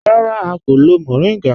Rárá, à kò lọ́ mòríngá